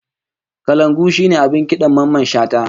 Kalangu shine abin kidan Mamman Shata